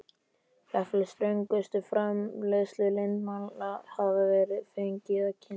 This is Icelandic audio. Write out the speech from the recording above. Jafnvel ströngustu framleiðsluleyndarmál hefði hann fengið að kynna sér.